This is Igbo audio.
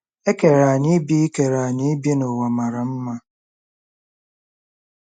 E kere anyị ibi kere anyị ibi n’ụwa mara mma.